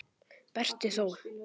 Berti þó!